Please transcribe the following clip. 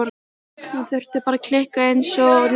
Hún þurfti bara kikkið einsog Lúna.